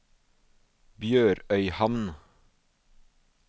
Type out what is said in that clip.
BjørØyhamn